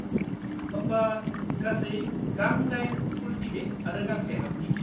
होमबा, गासै गां 8 फुल टिकिट आरो गांसे हाफ टिकिट।